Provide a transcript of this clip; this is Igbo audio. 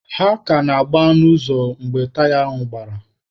Ha ka na-agba n'ụzọ mgbe taya ha gbara.